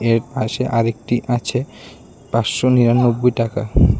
এর পাশে আরেকটি আছে পাঁচশো নিরানব্বই টাকা।